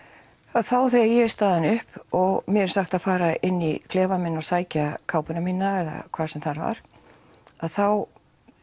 þá þegar ég er staðin upp og mér er sagt að fara inn í klefann minn að sækja kápuna mína eða hvað sem það var að þá